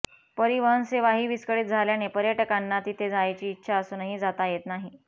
परिवहन सेवाही विस्कळीत झाल्याने पर्यटकांना तिथे जायची इच्छा असूनही जाता येत नाही